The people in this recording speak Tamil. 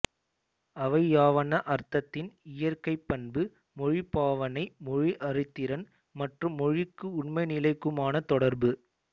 அவையாவன அர்த்தத்தின் இயற்கைப் பண்பு மொழிப் பாவனை மொழி அறிதிறன் மற்றும் மொழிக்கும் உண்மைநிலைக்குமான தொடர்பு